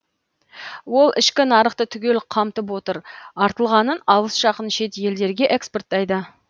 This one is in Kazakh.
ол ішкі нарықты түгел қамтып отыр артылғанын алыс жақын шет елдерге экспорттайды